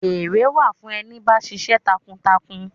Ere wà fún ẹni bá ṣiṣẹ́ takuntakun.